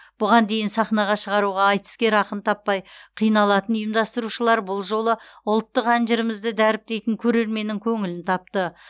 бұған дейін сахнаға шығаруға айтыскер ақын таппай қиналатын ұйымдастырушылар бұл жолы ұлттық ән жырымызды дәріптейтін көрерменнің көңілін тапты